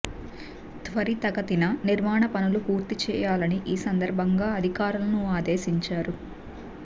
త్వరితగతిన నిర్మాణ పనులు పూర్తి చేయాలని ఈ సందర్భంగా అధికారులను ఆదేశించారు